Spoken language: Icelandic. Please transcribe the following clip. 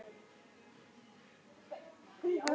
Petrónella, hvað er klukkan?